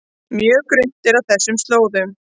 Mjög grunnt er á þessum slóðum